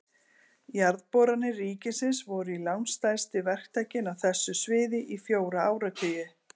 Jarðboranir ríkisins voru langstærsti verktakinn á þessu sviði í fjóra áratugi.